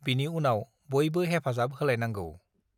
बिनि उनाव बयबो हेफाजाब होलायनांगौ ।